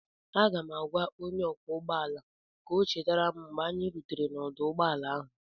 Aga m agwa onye ọkwọ ụgbọ ala ka ọ chetara m mgbe anyị rutere n'ọdụ ụgbọ ala ahụ